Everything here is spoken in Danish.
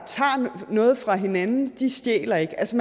noget fra hinanden stjæler ikke altså